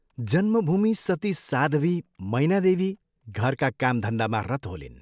जन्मभूमि सती साध्वी मैनादेवी घरका काम धन्दामा रत होलिन्।